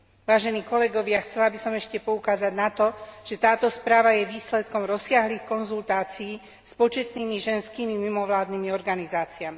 Vážení kolegovia, chcela by som ešte poukázať na to, že táto správa je výsledkom rozsiahlych konzultácií s početnými ženskými mimovládnymi organizáciami.